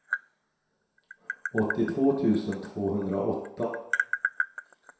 åttiotvå tusen tvåhundraåtta